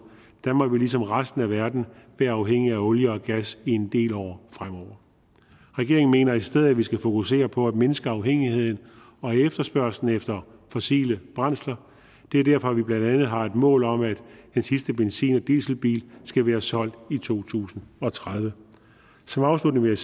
danmark vil ligesom resten af verden være afhængige af olie og gas i en del år fremover regeringen mener i stedet at vi skal fokusere på at mindske afhængigheden og efterspørgslen efter fossile brændsler det er derfor vi blandt andet har et mål om at den sidste benzin og dieselbil skal være solgt i to tusind og tredive som afslutning vil